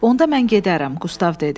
Onda mən gedərəm, Qustav dedi.